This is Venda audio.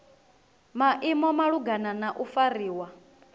maimo malugana na u fariwa